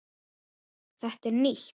Þetta er nýtt!